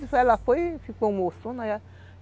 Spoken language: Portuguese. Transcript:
Ela foi e ficou moçona